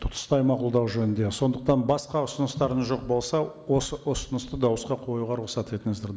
тұтастай мақұлдау жөнінде сондықтан басқа ұсыныстарыңыз жоқ болса осы ұсынысты дауысқа қоюға рұқсат етіңіздер